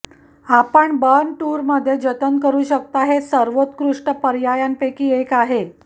आपण बर्न टूरमध्ये जतन करु शकता हे सर्वोत्कृष्ट पर्यायांपैकी एक आहे